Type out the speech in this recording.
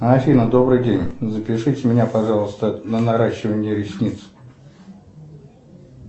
афина добрый день запишите меня пожалуйста на наращивание ресниц